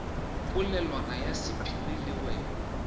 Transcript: polelwana ya sephiri le wena